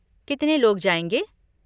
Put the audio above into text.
कितने लोग जाएँगे?